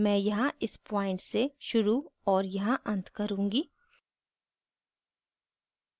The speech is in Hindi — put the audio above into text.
मैं यहाँ इस प्वॉइंट से शुरू और यहाँ अंत करुँगी